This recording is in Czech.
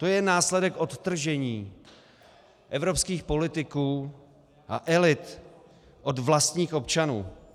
To je následek odtržení evropských politiků a elit od vlastních občanů.